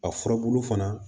A furabulu fana